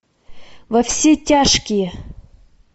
во все тяжкие